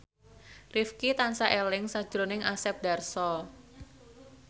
Rifqi tansah eling sakjroning Asep Darso